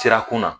Sirakun na